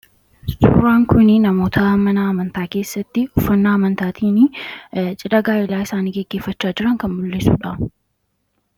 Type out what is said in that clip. suuraan kun namoota mana amantaa keessatti uffannaa amantaatiin cidha gaa'elaa isaanii geggeefachaa jiran kan mul'isuudha.